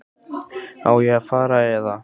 Á ég þá að fara. eða?